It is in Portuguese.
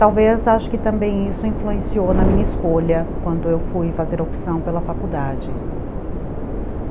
Talvez acho que também isso influenciou na minha escolha quando eu fui fazer opção pela faculdade.